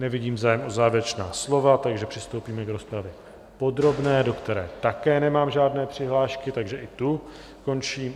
Nevidím zájem o závěrečná slova, takže přistoupíme k rozpravě podrobné, do které také nemám žádné přihlášky, takže i tu končím.